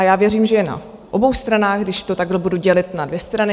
A já věřím, že je na obou stranách, když to takhle budu dělit na dvě strany.